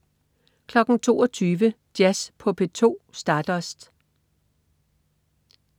22.00 Jazz på P2 - Stardust